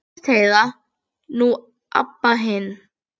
Fyrst Heiða, nú Abba hin.